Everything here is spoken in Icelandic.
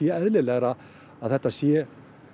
eðlilegast að þetta sé